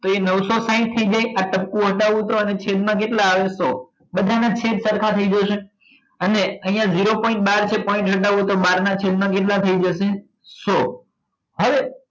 તો એ નવસો સાહીંઠ થઇ જાય આ ટપકું હટાવું તો અને છેદ માં કેટલા આવે સો બધા ના છેદ સરખા થઇ જશે અને અહિયાં zero point બાર જો point હટાવું તો બાર ના છેદ ના કેટલા થઇ જશે સો હવે